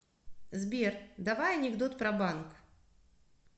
сбер давай анекдот про банк